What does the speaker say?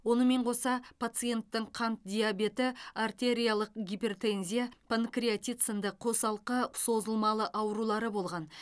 онымен қоса пациенттің қант диабеті артериялық гипертензия панкреатит сынды қосалқы созылмалы аурулары болған